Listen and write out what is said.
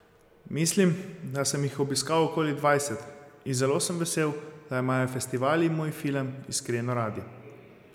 Mislim, da sem jih obiskal okoli dvajset, in zelo sem vesel, da imajo festivali moj film iskreno radi.